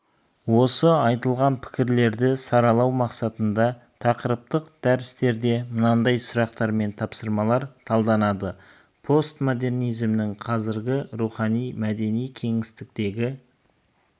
осы айтылған пікірлерді саралау мақсатында тақырыптық дәрістерде мынадай сұрақтар мен тапсырмалар талданады постмодернизмнің қазіргі рухани-мәдени кеңістіктегі